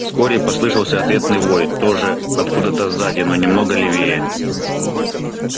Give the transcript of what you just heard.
вскоре послышался ответный вой тоже откуда то сзади но немного левее